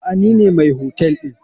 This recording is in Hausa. Aa nine mai hotel ɗin.